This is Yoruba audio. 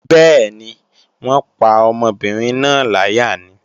Bẹ́ẹ̀ni, wọ́n pa ọmọbìnrin náà láyà ni